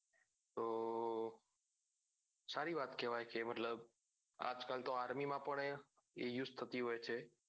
સારી વાત કેવાય કે મતલબ આજ કાલ તો army માં પણ એ use થતી હોય છે